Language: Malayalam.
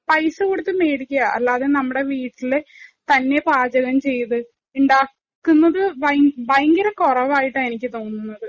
പൈസ കൊടുത്ത് മേടിക്കുക. അല്ലെങ്കില്‍ നമ്മുടെ വീട്ടില് തന്നെ പാചകം ചെയ്ത് ഇണ്ടാക്കുന്നത് ഭയങ്കര കുറവായിട്ടാണ് എനിക്ക് തോന്നുന്നത്.